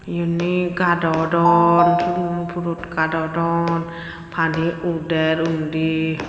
iyuney gadodon swingo purot gadodon pani uder undi.